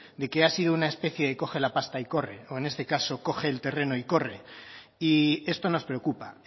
de que ha sido una especie de coge la pasta y corre o en este caso coge el terreno y corre y esto nos preocupa